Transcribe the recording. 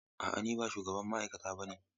A'a, ni ba shugaban ma'aikata ba ne.